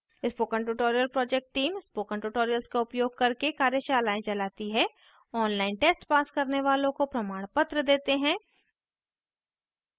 spoken tutorial project team spoken tutorial का उपयोग करके कार्यशालाएँ भी चलाती है online test pass करने वालों को प्रमाणपत्र देते हैं